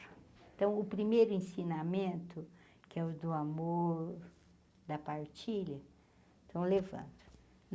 Então, o primeiro ensinamento, que é o do amor, da partilha, estão levando.